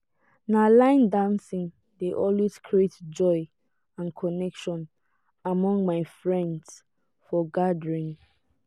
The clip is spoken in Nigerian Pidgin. na line dancing dey always create joy and connection among my friends for gatherings.